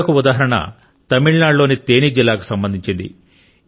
మరొక ఉదాహరణ తమిళనాడులోని తేని జిల్లాకు సంబంధించింది